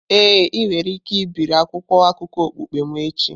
Ee, ị nwere ike ibiri akwụkwọ akụkọ okpukpe m echi.